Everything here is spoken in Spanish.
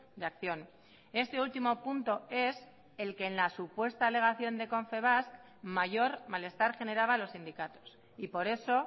de acción este último punto es el que en la supuesta alegación de confebask mayor malestar generaba a los sindicatos y por eso